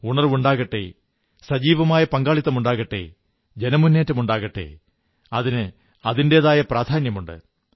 ഉണർവ്വുണ്ടാകട്ടെ സജീവമായ പങ്കാളിത്തമുണ്ടാകട്ടെ ജനമുന്നേറ്റമാകട്ടെ അതിന് അതിന്റെതായ പ്രാധാന്യമുണ്ട്